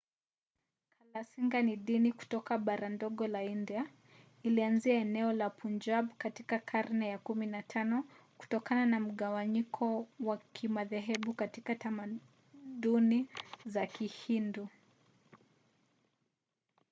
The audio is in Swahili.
kalasinga ni dini kutoka bara ndogo la india. ilianzia eneo la punjab katika karne ya 15 kutokana na mgawanyiko wa kimadhehebu katika tamaduni za kihindu